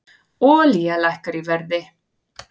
Olía lækkar í verði